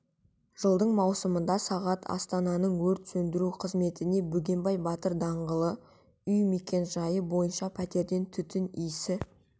жылдың маусымында сағат астананың өрт сөндіру қызметіне бөгенбай батыр даңғылы үй мекенжайы бойынша пәтерден түтін иісі